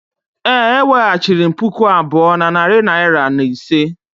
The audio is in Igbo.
Ee, eweghachiri m puku abụọ na narị naira na ise.